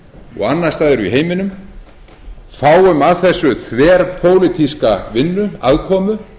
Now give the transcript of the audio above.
og annars staðar í heiminum fáum af þessu þverpólitíska vinnu aðkomu